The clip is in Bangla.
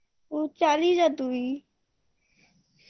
তুই চালিয়ে যা তুই